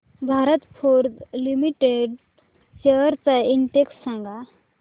Bharat Forge Limited shares चा index सांगा